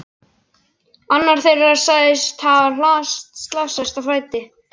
Annar þeirra hafði slasast á fæti.